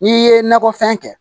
N'i ye nakɔ fɛn kɛ